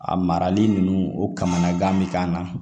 A marali nunnu o kamana gan be k'an na